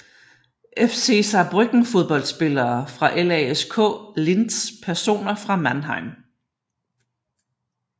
FC Saarbrücken Fodboldspillere fra LASK Linz Personer fra Mannheim